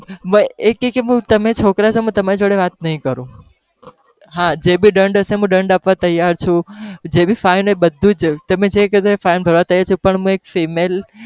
એ કે કે તમે છોકરા છો તો હું તમારી જોડે વાત નહી કરું, હા જે भी દંડ હશે હું દંડ આપવા તૈયાર છુ, જે भीfine બધુ જ તમે જે કહેશો એ fine ભરવા તૈયાર છુ, પણ હું એક female